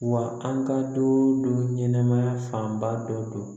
Wa an ka don dɔ ɲɛnɛmaya fanba dɔ don